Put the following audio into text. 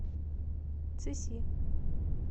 цыси